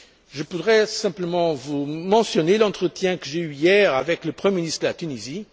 Je voudrais simplement vous mentionner l'entretien que j'ai eu hier avec le Premier ministre de la Tunisie.